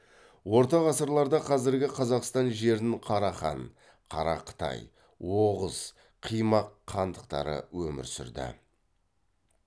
орта ғасырларда қазіргі қазақстан жерін қарахан қарақытай оғыз қимақ хандықтары өмір сүрді